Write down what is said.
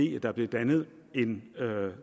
jeg